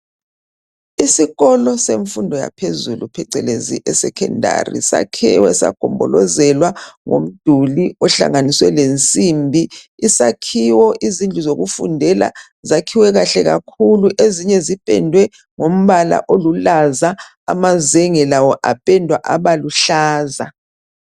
Isikolo semfundo yaphezulu, phecelezi esecondary. Sakhiwe, sagombolozelwa ngomduli, ohlanganiswe lensimbi. Isakhiwo, izindlu zokufundela, zakhiwe kahle kakhulu! Ezinye zipendwe ngombala oluhlaza. Amazenge lawo apendwa aba luhlaza.